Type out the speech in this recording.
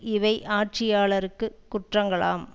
இவை ஆட்சியாளர்க்குக் குற்றங்களாம்